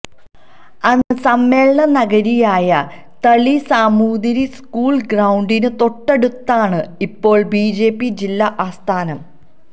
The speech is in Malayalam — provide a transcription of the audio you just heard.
അന്ന് സമ്മേളന നഗരിയായ തളി സാമൂതിരി സ്കൂള് ഗ്രൌണ്ടിന് തൊട്ടടുത്താണ് ഇപ്പോള് ബിജെപി ജില്ലാ ആസ്ഥാനം